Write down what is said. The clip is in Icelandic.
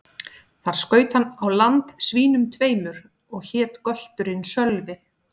Þar skaut hann á land svínum tveimur, og hét gölturinn Sölvi.